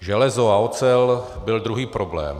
Železo a ocel byl druhý problém.